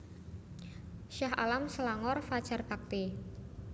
Shah Alam Selangor Fajar Bakti